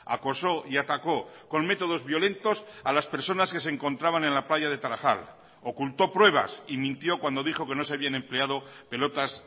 acosó y atacó con métodos violentos a las personas que se encontraban en la playa de tarajal ocultó pruebas y mintió cuando dijo que no se habían empleado pelotas